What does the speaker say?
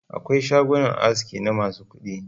Akwai shagunan aski na masu kuɗi.